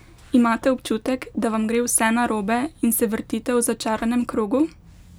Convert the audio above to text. Imate občutek, da vam gre vse narobe in se vrtite v začaranem krogu?